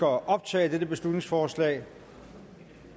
optage dette beslutningsforslag